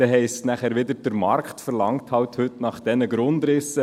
Es heisst dann wieder, der Markt verlange halt nach diesen Grundrissen.